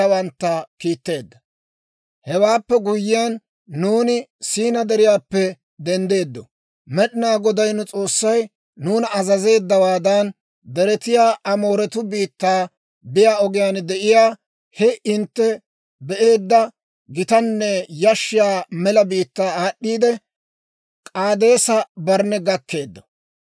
«Hewaappe guyyiyaan, nuuni Siinaa Deriyaappe denddeeddo; Med'inaa Goday nu S'oossay nuuna azazeeddawaadan, deretiyaa Amooretuu biittaa biyaa ogiyaan de'iyaa he hintte be'eedda gitanne yashshiyaa mela biittaa aad'd'iidde, K'aadeesa-Barnne gakkeeddo.